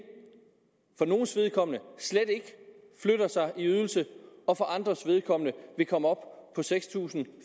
for nogles vedkommende slet ikke flytter sig i ydelse og for andres vedkommende vil komme op på seks tusind